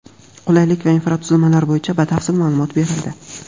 qulaylik va infratuzilmalar bo‘yicha batafsil ma’lumot berildi.